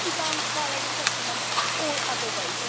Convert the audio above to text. It could be done via resettlement or other ways.